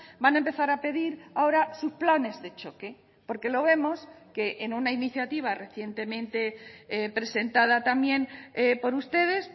van a empezar a pedir ahora sus planes de choque porque lo vemos que en una iniciativa recientemente presentada también por ustedes